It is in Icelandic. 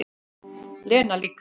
Lena líka.